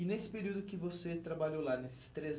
E nesse período que você trabalhou lá, nesses três